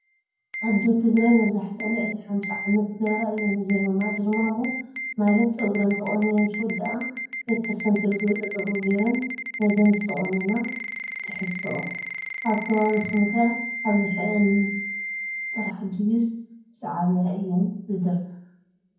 ኣዶ ትግራይ መብዛሕቲእን ልዕሊ 50 ዓመት ዝገበራ እየን ዝድርመማ ። ድርማሞ ማላት ፀጉረን ተቆኒነን ምስ ወድኣ ብቲ ተሰንቲሩ ዝወፀ ፀጉሪ ገይረን ንዝን ዝተቆነና ይትሕስኦ። ኣብ ከባቢኩም ከ ኣብሓዘን ጥራሕ ድዩስ ምስዓበያ ዝድርመማ ?